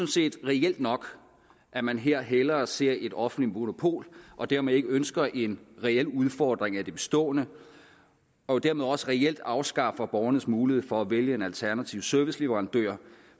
set reelt nok at man her hellere ser et offentligt monopol og dermed ikke ønsker en reel udfordring af det bestående og dermed også reelt afskaffer borgernes mulighed for at vælge en alternativ serviceleverandør